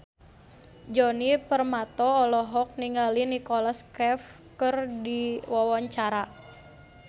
Djoni Permato olohok ningali Nicholas Cafe keur diwawancara